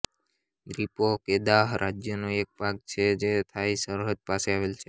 દ્વીપો Kedah રાજ્યનો એક ભાગ છેજે થાઇ સરહદ પાસે આવેલ છે